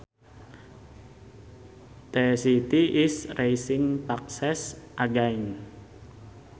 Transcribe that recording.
The city is raising taxes again